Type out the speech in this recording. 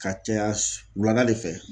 Ka caya wulada de fɛ